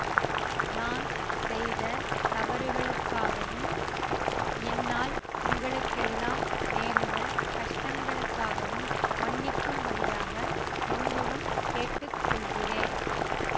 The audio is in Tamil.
நான் செய்த தவறுகளுக்காகவும் என்னால் உங்களுக்கெல்லாம் நேர்ந்த கஷ்டங்களுக்காகவும் மன்னிக்கும்படியாக ரொம்பவும் கேட்டு கொள்கிறேன்